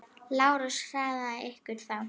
LÁRUS: Hraðið ykkur þá!